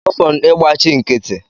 Ọfọn ị gbachi nkịtị!